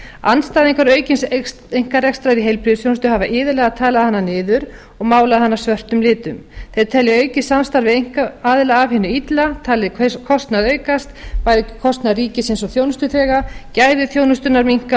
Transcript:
andstæðingar aukins einkarekstrar í heilbrigðisþjónustu hafa iðulega talað hana niður og málað hana svörtum litum þeir telja aukið samstarf við einkaaðila af hinu illa talið kostnað aukast bæði kostnað ríkisins og þjónustuþega gæði þjónustunnar minnka og